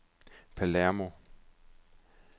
Palermo